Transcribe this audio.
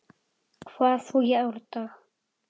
hvað þú í árdaga